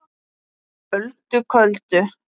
Öldu köldu